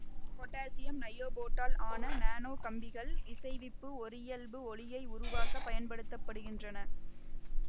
potassium நையோபேட்டால் ஆன nano கம்பிகள் இசைவிப்பு ஒரியல்பு ஒளியை உருவாக்க பயன்படுத்த படுகின்றன